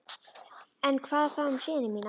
En hvað þá um syni mína?